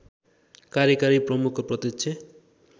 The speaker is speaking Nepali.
कार्यकारी प्रमुखको प्रत्यक्ष